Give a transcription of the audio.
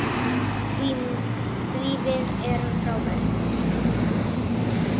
Því við erum frábær.